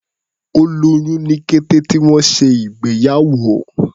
Ó lóyún ní kété tí wọ́n ṣe ìgbéyàwó.